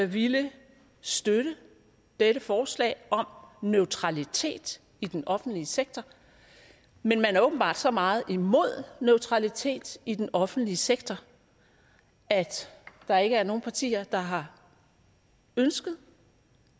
ville støtte dette forslag om neutralitet i den offentlige sektor men man er åbenbart så meget imod neutralitet i den offentlige sektor at der ikke er nogen partier der har ønsket